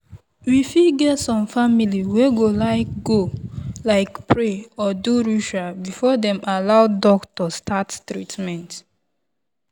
we fit get some family wey go like go like pray or do ritual before dem allow doctor start treament.